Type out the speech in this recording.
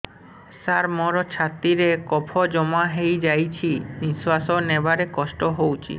ସାର ମୋର ଛାତି ରେ କଫ ଜମା ହେଇଯାଇଛି ନିଶ୍ୱାସ ନେବାରେ କଷ୍ଟ ହଉଛି